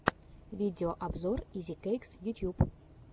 видеообзор изикэйкс ютюб